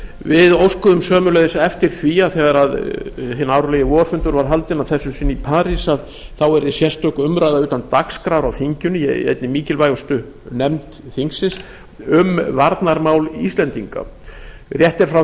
við óskuðum sömuleiðis eftir því að þegar hinn árlegi vorfundur var haldinn að þessu sinni í parís yrði sérstök umræða utan dagskrár í þinginu í einni mikilvægustu nefnd þingsins um varnarmál íslendinga rétt er frá